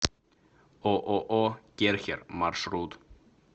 ооо керхер маршрут